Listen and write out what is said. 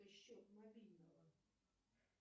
счет мобильного